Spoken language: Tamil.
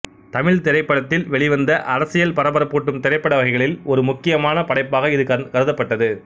தமிழ்த் திரைப்படத்தில் வெளிவந்த அரசியல் பரபரப்பூட்டும் திரைப்பட வகைகளில் ஒரு முக்கியமான படைப்பாக இது கருந்தப்படட்து